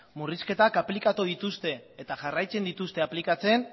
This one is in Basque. murrizketak aplikatu dituzte eta jarraitzen dituzte aplikatzen